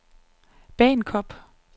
Bagenkop